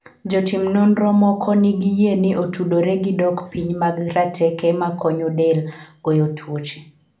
Jotim nonro moko nigi yie ni otudore gi dok piny mag rateke makonyo del goyo tuoche.